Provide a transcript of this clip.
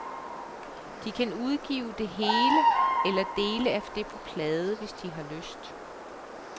De kan udgive det hele eller del af det på plade, hvis de har lyst.